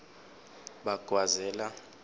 bagwazela